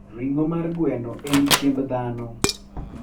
ring'o mar gweno en chiemb ndano.